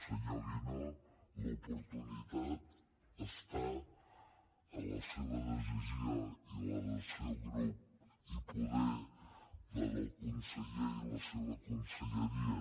senyor guinó l’oportunitat està a la seva decisió i la del seu grup i poder a la del conseller i la seva conselleria